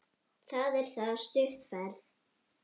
Það er það stutt ferð.